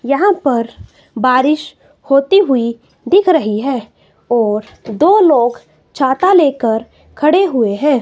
यहां पर बारिश होती हुई दिख रही है और दो लोग छाता लेकर खड़े हुए है।